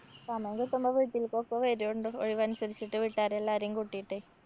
സമയം കിട്ടുമ്പോ വീട്ടില്‍ക്കൊക്കെ വരോണ്ടൂ. ഒഴിവനുസരിച്ചിട്ട് വീട്ടാരെ എല്ലാരേം കൂട്ടിട്ടെ.